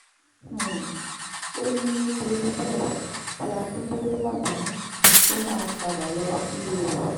um ó ní nítorí bẹ́ẹ̀ kí um akindlee má bínú kó máa padà lọ sílé rẹ̀